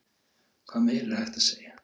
Hvað meira er hægt að segja?